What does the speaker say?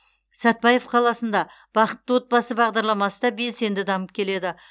сәтпаев қаласында бақытты отбасы бағдарламасы да белсенді дамып келеді